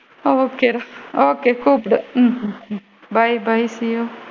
Okay டா okay கூப்டு hmm um bye bye see you